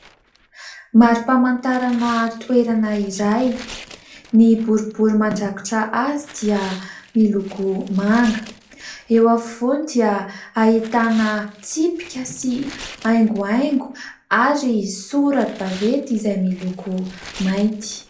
Marim-pamantarana toerana iray ny boribory mandrakitra azy dia miloko manga, eo afovoany dia hahitana tsipika sy haingohaingo ary sora-baventy izay miloko mainty.